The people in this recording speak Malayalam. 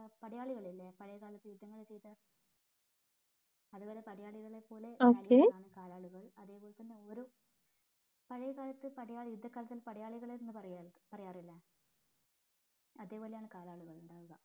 പടയാളികളില്ലേ പഴയ കാലത്ത് യുദ്ധങ്ങള് ചെയ്ത അത് വരെ പടയാളികളെ കലാളികൾ അതേപോലെ തന്നെ ഒരു പാഴായെ കാലത്തെ യുദ്ധക്കളത്തിൽ പടയാളികൾ എന്ന് പറയാറില്ലേ അതേപോലെയാണ് കാലാലുകൾ ഉണ്ടാവുക